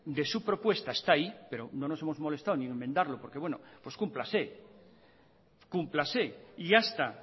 de su propuesta está ahí pero no nos hemos molestado ni en enmendarlo porque bueno pues cúmplase cúmplase y hasta